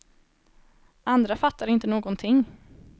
Andra fattar inte någonting!